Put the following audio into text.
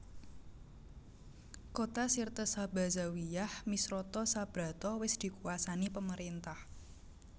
Kota Sirte Sabha Zawiyah Misrata Sabrata wis dikuwasani pemerintah